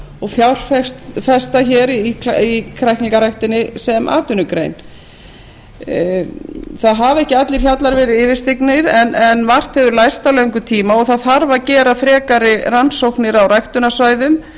og fjárfesta hér í kræklingaræktinni sem atvinnugrein ekki hafa allir hjallar verið yfirstignir en margt hefur lærst á löngum tíma og það þarf að gera frekari rannsóknir á ræktunarsvæðum